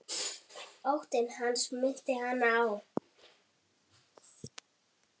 Hvað vekur áhuga þinn?